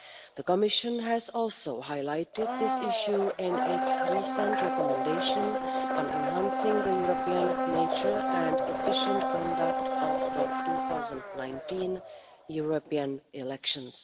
The Commission also highlighted this issue in its recent recommendation on enhancing the European nature and efficient conduct of the 2019 European elections.